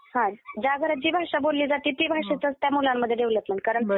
हो. ज्या घरामध्ये जी भाषा बोलली जाते ती भाषेतच त्या मुलांची डेव्हलपमेंट कारण...